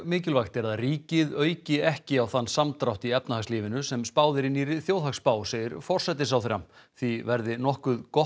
mikilvægt er að ríkið auki ekki á þann samdrátt í efnahagslífinu sem spáð er í nýrri þjóðhagsspá segir forsætisráðherra því verði nokkuð gott